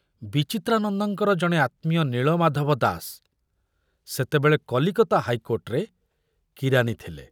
ବିଚିତ୍ରାନନ୍ଦଙ୍କର ଜଣେ ଆତ୍ମୀୟ ନୀଳମାଧବ ଦାସ ସେତେବେଳେ କଲିକତା ହାଇକୋର୍ଟରେ କିରାନୀ ଥିଲେ।